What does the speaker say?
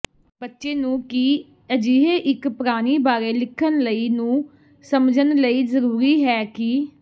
ਬੱਚੇ ਨੂੰ ਕੀ ਅਜਿਹੇ ਇੱਕ ਪ੍ਰਾਣੀ ਬਾਰੇ ਲਿਖਣ ਲਈ ਨੂੰ ਸਮਝਣ ਲਈ ਜ਼ਰੂਰੀ ਹੈ ਕਿ